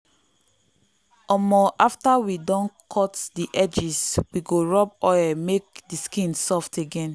um after we don cut the edges we go rub oil make the skin soft again.